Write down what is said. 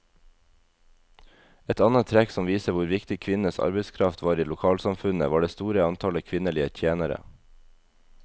Et annet trekk som viser hvor viktig kvinnenes arbeidskraft var i lokalsamfunnet, var det store antallet kvinnelige tjenere.